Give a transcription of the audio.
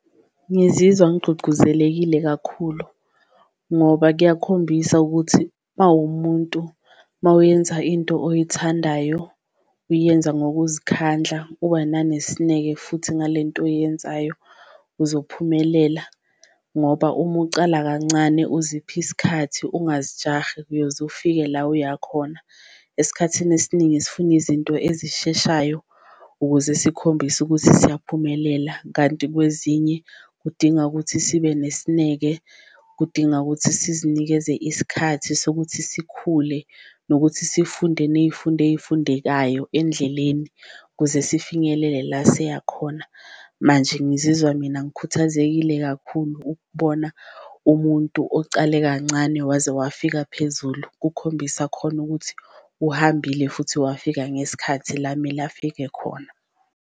Ngizizwa ngigcugcuzelekile kakhulu ngoba kuyakhombisa ukuthi mawumuntu mawuyenza into oyithandayo uyenza ngokuzikhandla ubananesineke futhi ngale nto oyenzayo uzophumelela, ngoba uma ucala kancane uzipha isikhathi ungazijahi uyoze ufike la oyakhona. Esikhathini esiningi sifuna izinto ezisheshayo ukuze sikhombise ukuthi siyaphumelela kanti kwezinye kudinga ukuthi sibe nesineke, kudinga ukuthi sesizinikeze isikhathi sokuthi sikhule nokuthi sifunde ney'fundo ey'fundekayo endleleni, kuze sifinyelele la siyakhona. Manje ngizizwa mina ngikhuthazekile kakhulu ukubona umuntu ocale kancane waze wafika phezulu, kukhombisa khona ukuthi uhambile futhi wafika ngesikhathi la mele afike khona.